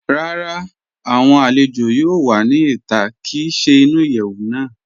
Rárá, awọn alẹ̀jọ yóò wà ní ìtà kí í ṣè ní ìyẹwu náà.